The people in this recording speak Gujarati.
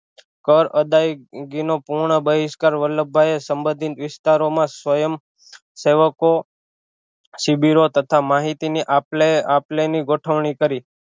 કર અદાઈગીનો પૂરો બહિષકાર વલ્લભભાઈ એ સબંધિત વિસ્તારો માં સ્વયં સેવકો શિબિરો તથા માહિતી ની આપલે આપલે ની ગોઠવણી કરી